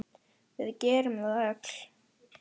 Við gerum það öll.